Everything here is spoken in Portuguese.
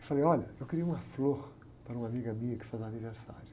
Eu falei, olha, eu queria uma flor para uma amiga minha que faz aniversário.